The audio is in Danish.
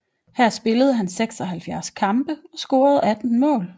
Her spillede han 76 kampe og scorede 18 mål